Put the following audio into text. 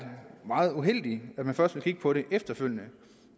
meget uheldigt at man først vil kigge på det efterfølgende